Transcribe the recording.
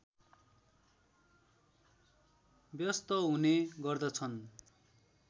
व्यस्त हुने गर्दछन्